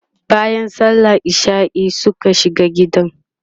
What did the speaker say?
bayan sallan isha'i Suka shiga gidan